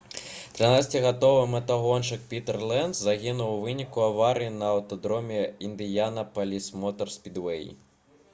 13-гадовы матагоншчык пітэр ленц загінуў у выніку аварыі на аўтадроме «індыянапаліс мотар спідвэй»